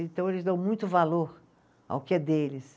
Então, eles dão muito valor ao que é deles.